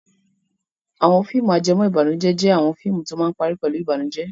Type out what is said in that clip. Àwọn fíìmù ajẹmọ́bànújẹ́ jẹ́ àwọn fíìmù tó máa ń parí pẹ̀lú ìbànújẹ́.